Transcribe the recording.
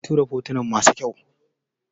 Kin turo fotuna masu kyau